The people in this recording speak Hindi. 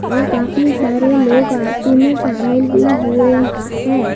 और काफी सारे लोग आरती में शामिल भी हुए हैं।